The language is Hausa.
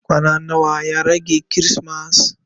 Kwana nawa ya rage kirismas?